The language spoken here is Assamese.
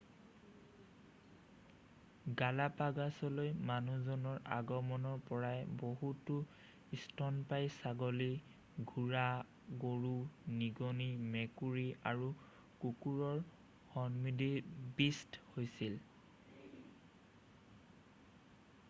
গালাপাগছলৈ মানুহজনৰ আগমনৰ পৰাই বহুতো স্তন্যপায়ী ছাগলী ঘোঁৰা গৰু নিগনি মেকুৰী আৰু কুকুৰ সন্নিৱিষ্ট হৈছিল৷